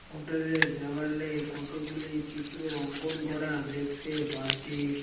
হোটেলের দেওয়ালে কতগুলি চিত্র অঙ্কন করা দেখতে পারছি।